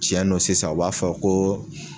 Tiɲɛ nɔ sisan o b'a fɔ ko